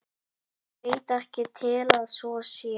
Ég veit ekki til að svo sé.